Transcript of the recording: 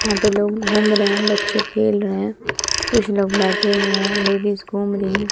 यहां पे लोग घूम रहे हैं बच्चे खेल रहे हैं कुछ लोग बैठे हुए हैं लेडीज घूम रही है।